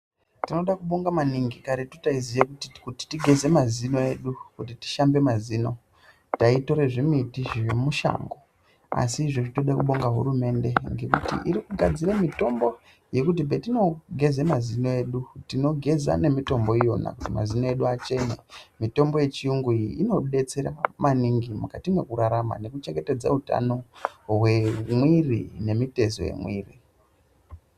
Tinoto bonga maningi, karetu taiziye kuti kuti tigeze mazino edu, kuti tishambe mazino taitore zvimiti zvemishango, asi izvezvi tode kubonga hurumende ngekuti iri kugadzire mitombo yekuti patino geza mazino edu tinogeze ngemitombo iyona kuti mazino edu achene. Mitombo yechiyungu iyi inobetsera maningi mukati mekurarama nekuchengetedza utano hwemwiri nemitezo yemwiri.